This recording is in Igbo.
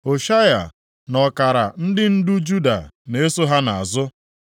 Hoshaya na ọkara ndị ndu Juda na-eso ha nʼazụ,